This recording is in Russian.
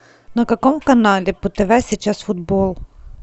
на каком канале по тв сейчас футбол